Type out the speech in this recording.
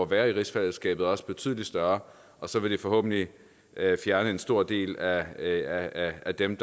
være i rigsfællesskabet også betydelig større og så vil det forhåbentlig fjerne en stor del af af dem